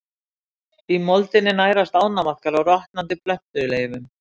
Í moldinni nærast ánamaðkar á rotnandi plöntuleifum.